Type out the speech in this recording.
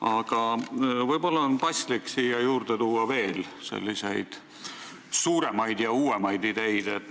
Aga võib-olla on paslik siia juurde tuua veel selliseid suuremaid ja uuemaid ideid.